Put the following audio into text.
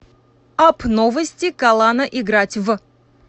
апп новости калана играть в